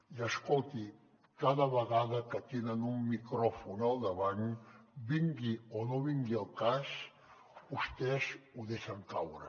i escolti cada vegada que tenen un micròfon al davant vingui o no vingui al cas vostès ho deixen caure